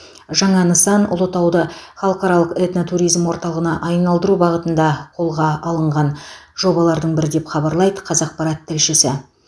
жаңа нысан ұлытауды халықаралық этнотуризм орталығына айналдыру бағытында қолға алынған жобалардың бірі деп хабарлайды қазақпарат тілшісі